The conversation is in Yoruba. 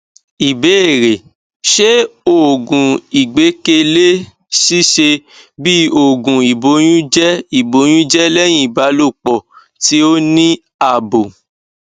ìbéèrè ṣé oògùn igbekele sise bi oogun iboyunje iboyunje lehin ibalopo ti o ni abo